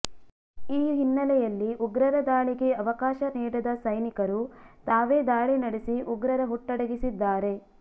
ಈ ಹಿನ್ನೆಲೆಯಲ್ಲಿ ಉಗ್ರರ ದಾಳಿಗೆ ಅವಕಾಶ ನೀಡದ ಸೈನಿಕರು ತಾವೇ ದಾಳಿ ನಡೆಸಿ ಉಗ್ರರ ಹುಟ್ಟಡಗಿಸಿದ್ದಾರೆ